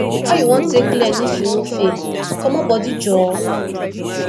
how you wan take learn if you no fail comot bodi joor